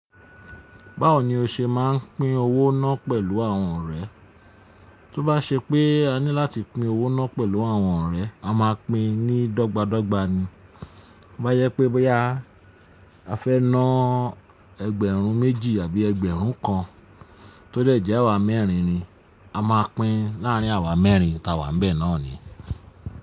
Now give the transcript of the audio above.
Báwo ni o ṣe máa ń pín owó náà pẹ̀lú àwọn ọ̀rẹ́? Tó bá ṣe pé a ní láti pín owó náà pẹ̀lú àwọn ọ̀rẹ́, a máa pín ní dọ́gba dọ́gba ni. Tobá yẹ́ pé boya, a fẹ́ ná ẹgbẹ̀rún méjì àbí ẹgbẹ̀rún kan, tó dẹ́jẹ́ àwa mẹ́rin ni, a máa pín láàrín àwa mẹ́rin ta wà nbẹ̀ náà ni.